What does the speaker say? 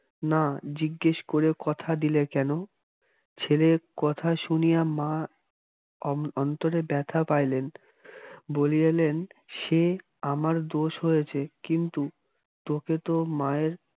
না জিজ্ঞেস করে কথা দিলে কেন? ছেলের কথা শুনিয়া মা অন্তরে ব্যথা পাইলেন বলিলেন সে আমার দোষ হয়েছে কিন্তু তোকে তো মায়ের